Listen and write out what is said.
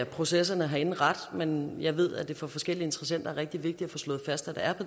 processerne herinde ret men jeg ved at det for forskellige interessenter er rigtig vigtigt at få slået fast at